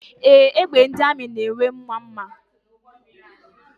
Ee, egbe ndị amị na-enwe nwa mma.